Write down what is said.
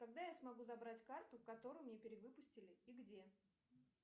когда я смогу забрать карту которую мне перевыпустили и где